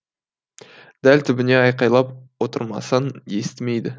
дәл түбіне айқайлап отырмасаң естімейді